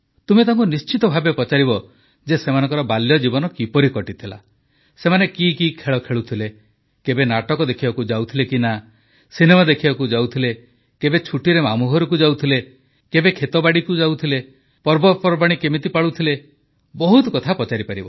ତୁମେ ତାଙ୍କୁ ନିଶ୍ଚିତ ଭାବେ ପଚାରିବ ଯେ ସେମାନଙ୍କର ବାଲ୍ୟଜୀବନ କିପରି କଟିଥିଲା ସେମାନେ କି କି ଖେଳ ଖେଳୁଥିଲେ କେବେ ନାଟକ ଦେଖିବାକୁ ଯାଉଥିଲେ ସିନେମା ଦେଖିବାକୁ ଯାଉଥିଲେ କେବେ ଛୁଟିରେ ମାମୁଘରକୁ ଯାଉଥିଲେ କେବେ ଖେତବାଡ଼ିକୁ ଯାଉଥିଲେ ପର୍ବପର୍ବାଣି କିପରି ପାଳୁଥିଲେ ବହୁତ କଥା ପଚାରିପାରିବ